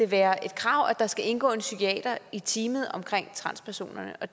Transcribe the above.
være et krav at der skal indgå en psykiater i teamet omkring transpersonerne